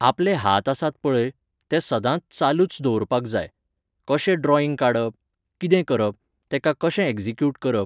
आपले हात आसात पळय, ते सदांच चालूच दवरपाक जाय. कशें ड्रॉईंग काडप? कितें करप? तेका कशें ऍग्जीक्यूट करप?